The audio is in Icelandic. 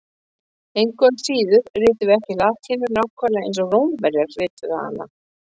Engu að síður ritum við ekki latínu nákvæmlega eins og Rómverjar rituðu hana.